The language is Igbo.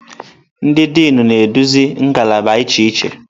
Ndị Dịnụ na-eduzi ngalaba iche iche.